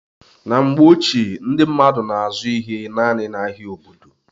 Na mgbe ochie, ndị mmadụ na-azụ ihe naanị n'ahia obodo.